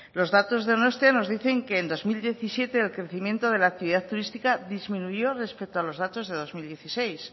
los datos de donostia nos dicen que en dos mil diecisiete el crecimiento de la actividad turística disminuyó respecto a los datos de dos mil dieciséis